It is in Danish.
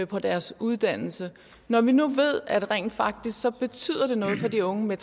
på deres uddannelse når vi nu ved at rent faktisk betyder noget for de unge